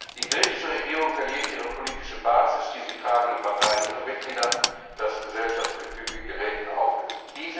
Die griechische Regierung verliert ihre politische Basis, die sie tragenden Parteien ihre Mitglieder, das Gesellschaftsgefüge gerät in Auflösung.